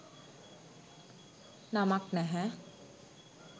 නමක් නැහැ.